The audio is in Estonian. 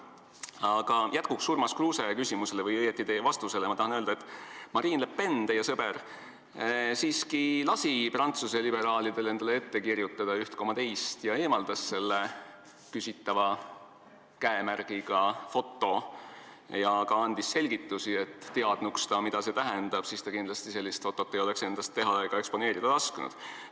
Aga jätkuks Urmas Kruuse küsimusele või õieti teie vastusele tahan öelda, et Marine Le Pen, teie sõber, siiski lasi Prantsuse liberaalidel endale üht koma teist ette kirjutada ja eemaldas selle küsitava käemärgiga foto ning andis ka selgitusi, et kui ta teadnuks, mida see tähendab, siis ta kindlasti sellist fotot ei oleks endast teha ega eksponeerida lasknud.